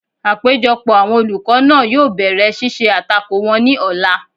Àpéjọpọ̀ àwọn olùkọ́ náà yóò bẹ̀rẹ̀ ṣíṣe àtakò wọn ní ọ̀la